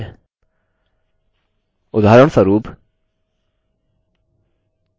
उदाहरणस्वरूप चलिए नये वेरिएबल को यहाँ सेट करते हैं